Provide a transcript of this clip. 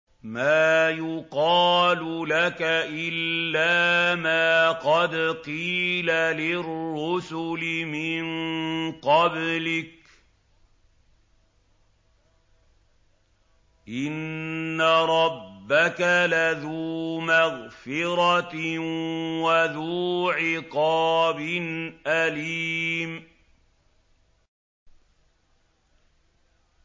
مَّا يُقَالُ لَكَ إِلَّا مَا قَدْ قِيلَ لِلرُّسُلِ مِن قَبْلِكَ ۚ إِنَّ رَبَّكَ لَذُو مَغْفِرَةٍ وَذُو عِقَابٍ أَلِيمٍ